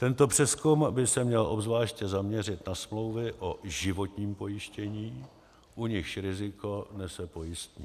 Tento přezkum by se měl obzvláště zaměřit na smlouvy o životním pojištění, u nichž riziko nese pojistník.